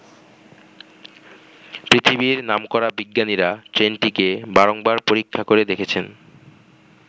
পৃথিবীর নামকরা বিজ্ঞানীরা ট্রেনটিকে বারংবার পরীক্ষা করে দেখেছেন।